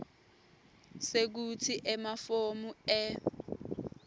sekutsi emafomu e